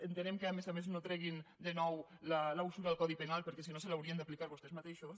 entenem que a més a més no treguin de nou la usura al codi penal perquè si no se l’haurien d’aplicar vostès mateixos